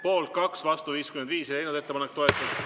Poolt 2 ja vastu 55, ettepanek ei leidnud toetust.